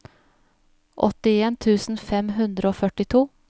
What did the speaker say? åttien tusen fem hundre og førtito